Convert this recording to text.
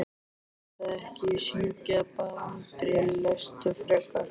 Gerðu það ekki syngja, bað Andri, lestu frekar.